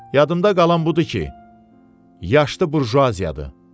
Yadımda qalan budur ki, yaşlı burjuaziyadır.